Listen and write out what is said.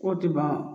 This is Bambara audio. K'o tɛ ban